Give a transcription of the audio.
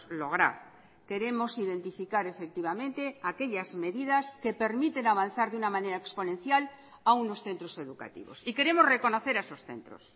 lograr queremos identificar efectivamente aquellas medidas que permiten avanzar de una manera exponencial a unos centros educativos y queremos reconocer a esos centros